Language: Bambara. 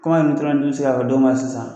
Kuma ka don ma sisan